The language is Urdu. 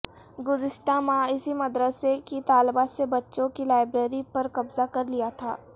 گزشتہ ماہ اسی مدرسے کی طالبات نے بچوں کی لائبریری پر قبضہ کر لیا تھا